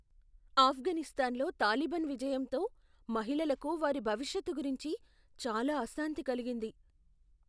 ఆఫ్ఘనిస్తాన్లో తాలిబాన్ విజయంతో మహిళలకు వారి భవిష్యత్తు గురించి చాలా అశాంతి కలిగింది.